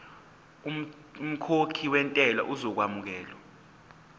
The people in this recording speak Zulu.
umkhokhi wentela uzokwamukelwa